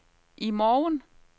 i morgen